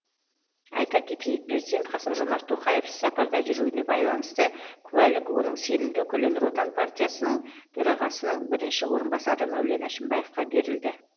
айта кетейік президент қасым жомарт тоқаев іссапарда жүруіне байланысты куәлік оның сенімді өкілі нұр отан партиясының төрағасының бірінші орынбасары мәулен әшімбаевқа берілді